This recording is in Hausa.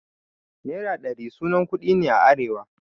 Nera ɗari sunan kuɗi ne a arewa.